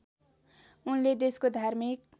उनले देशको धार्मिक